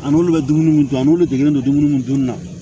An n'olu bɛ dumuniw dun ani degelen don dumuni minnu dun na